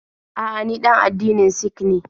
A'a, ni ɗan addinin Sik ne.